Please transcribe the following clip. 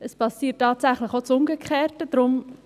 Es passiert tatsächlich auch das Umgekehrte.